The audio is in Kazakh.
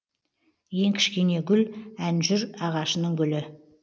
ең кішкене гүл әнжүр ағашының гүлі